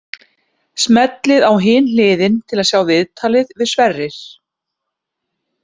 Smellið á Hin hliðin til að sjá viðtalið við Sverrir.